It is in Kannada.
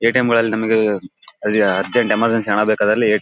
ಎ ಟಿ ಎಮ್ ಗಳಲ್ಲಿ ನಮಿಗೆ ಅಲ್ಲಿಯಅರ್ಜೆಂಟ್ ಎಮರ್ಜೆನ್ಸ್ ಹಣ ಬೇಕಾದಲ್ಲಿ--